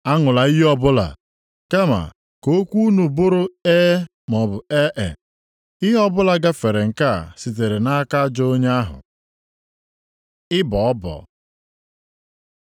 Aṅụla iyi ọbụla. Kama ka okwu unu bụrụ ‘E’ maọbụ ‘Ee’; ihe ọbụla gafere nke a sitere nʼaka ajọ onye ahụ. Ịbọ ọbọ